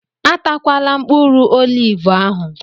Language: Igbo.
Atakwala mkpụrụ olivu ahụ!